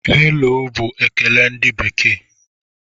"Hello" bụ ekele ndị bekee.